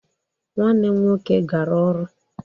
Nwanne m nwoke gara ọrụ